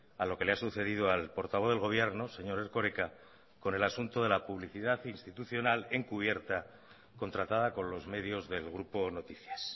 a lo que le ha sucedido al portavoz del gobierno señor erkoreka con el asunto de la publicidad institucional encubierta contratada con los medios del grupo noticias